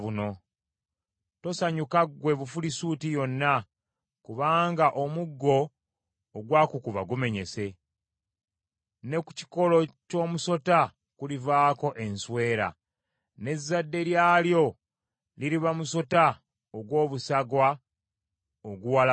Tosanyuka ggwe Bufirisuuti yonna, kubanga omuggo ogwakukuba gumenyese, ne ku kikolo ky’omusota kulivaako enswera, n’ezzadde lyalyo liriba musota ogw’obusagwa oguwalabuka.